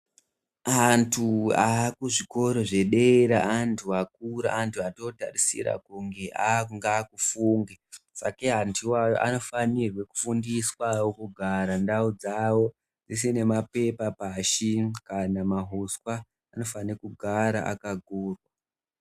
Antu aakuzvikora zvedera antu akura antu otootarisira kuti akunge akufunge sakei antu iwawo anofanirwa kufundiswa kugara ndau dzawo dzisina mapepa pashi kana mahuswa anofanira kugara akagurwa .